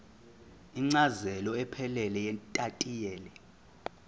incazelo ephelele yetayitela